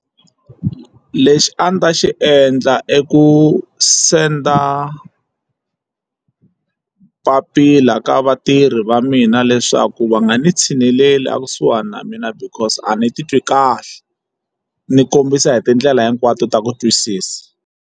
Lexi a ndzi ta xi endla i ku senda papila ka vatirhi va mina leswaku va nga ni tshineleli a kusuhani na mina because a ni titwi kahle ni kombisa hi tindlela hinkwato ta ku twisisa.